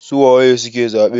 su waye suke zabe?